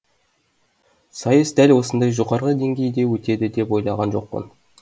сайыс дәл осындай жоғары деңгейде өтеді деп ойлаған жоқпын